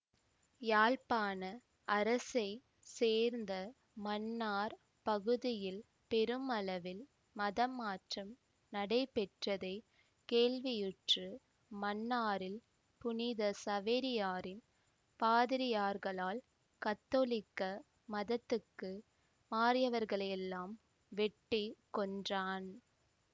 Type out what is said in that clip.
யாழ்ப்பாண அரசைச் சேர்ந்த மன்னார்ப் பகுதியில் பெருமளவில் மதமாற்றம் நடைபெற்றதைக் கேள்வியுற்று மன்னாரில் புனித சவேரியாரின் பாதிரியார்களால் கத்தோலிக்க மதத்துக்கு மாறியவர்களையெல்லாம் வெட்டி கொன்றான்